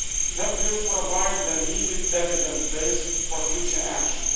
That will provide the needed evidence base for future action.